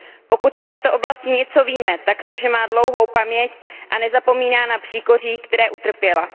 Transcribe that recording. Pokud o této oblasti něco víme, tak to, že má dlouhou paměť a nezapomíná na příkoří, která utrpěla.